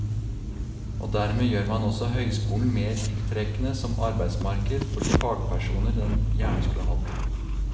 Og dermed gjør man også høyskolen mer tiltrekkende som arbeidsmarked for de fagpersoner den gjerne skulle hatt.